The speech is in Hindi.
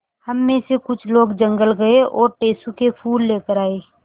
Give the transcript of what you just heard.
हम मे से कुछ लोग जंगल गये और टेसु के फूल लेकर आये